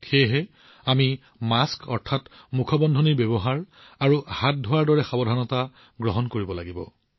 সেয়েহে আমি মাস্ক আৰু হাত ধোৱাৰ দৰে সাৱধানতাসমূহ পালন কৰিব লাগিব